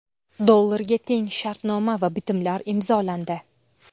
dollarga teng shartnoma va bitimlar imzolandi.